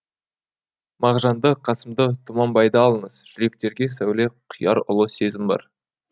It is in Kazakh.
мағжанды қасымды тұманбайды алыңыз жүректерге сәуле құяр ұлы сезім бар